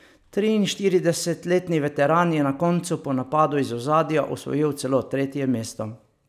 Triinštiridesetletni veteran je na koncu po napadu iz ozadja osvojil celo tretje mesto.